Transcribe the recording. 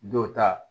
Dɔw ta